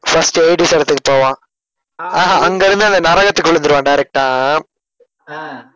ஆஹ்